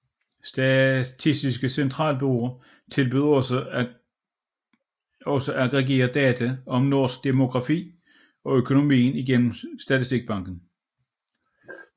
Statistisk Centralbureau tilbyder også aggregerede data om norsk demografi og økonomi igennem Statistikkbanken